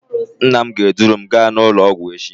Nna m ga-eduru m gaa n'ụlọọgwụ echi